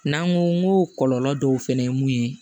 N'an ko n ko kɔlɔlɔ dɔw fɛnɛ ye mun ye